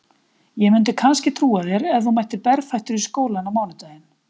Ég myndi kannski trúa þér ef þú mættir berfættur í skólann á mánudaginn